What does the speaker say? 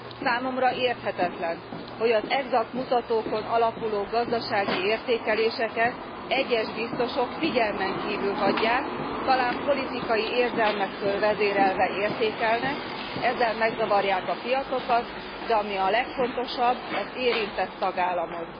Számomra érthetetlen, hogy az egzakt mutatókon alapuló gazdasági értékeléseket egyes biztosok figyelmen kívül hagyják, talán politikai érzelmektől vezérelve értékelnek, ezzel megzavarják a piacokat, de ami a legfontosabb, az érintett tagállamot.